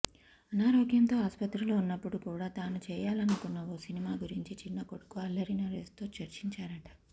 అనారోగ్యంతో ఆసుపత్రిలో ఉన్నపుడు కూడా తాను చేయాలనుకున్న ఓ సినిమా గురించి చిన్న కొడుకు అల్లరి నరేష్తో చర్చించారట